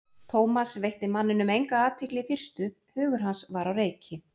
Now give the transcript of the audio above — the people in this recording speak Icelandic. Thomas veitti manninum enga athygli í fyrstu, hugur hans var á reiki.